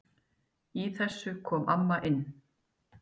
Í þessu kom amma inn.